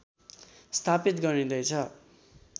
स्थापित गरिंदैछ